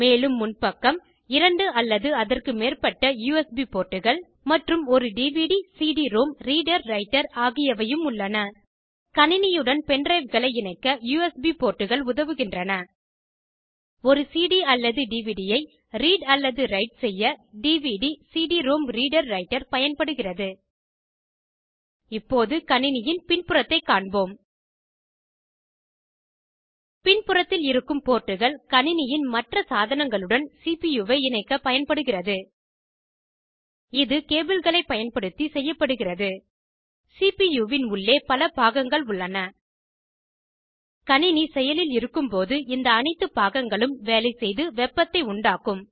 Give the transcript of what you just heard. மேலும் முன்பக்கம் 2 அல்லது அதற்குமேற்பட்ட யுஎஸ்பி போர்ட்டுகள் மற்றும் ஒரு dvdcd ரோம் ரீடர் ரைட்டர் ஆகியவையும் உள்ளன கணினியுடன் பென்ட்ரைவ்களை இணைக்க யுஎஸ்பி போர்ட்டுகள் உதவுகின்றன ஒரு சிடி அல்லது டிவிடி ஐ ரீட் அல்லது ரைட் செய்ய dvdcd ரோம் ரீடர் ரைட்டர் பயன்படுகிறது இப்போது கணினியின் பின் புறத்தைக் காண்போம் பின் புறத்தில் இருக்கும் போர்ட்டுகள் கணினியின் மற்ற சாதனங்களுடன் சிபுயூவை இணைக்க பயன்படுகிறது இது கேபிள்களை பயன்படுத்தி செய்யப்படுகிறது சிபியூ வின் உள்ளே பல பாகங்கள் உள்ளன கணினி செயலில் இருக்கும்போது இந்த அனைத்து பாகங்களும் வேலைசெய்து வெப்பத்தை உண்டாக்கும்